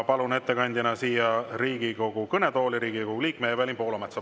Palun ettekandeks siia Riigikogu kõnetooli Riigikogu liikme Evelin Poolametsa.